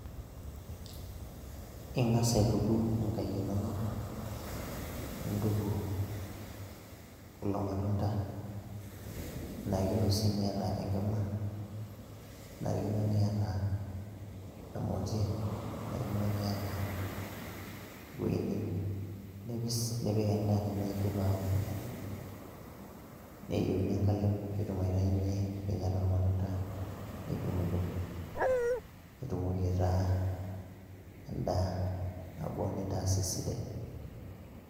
Ing'asa aituku nkaek inonok, nintuku kulo matunda, kenarikno sii niyata enkima, kenarikino niyata emoti, kenarikino niyata ewoi nipising nipiki endaa tenidip aoku, neyeuni enkalem piitum aitayunye nkinyat ormatunda nidung'dung' nitumoki aitaa endaa nabo nintas esidai.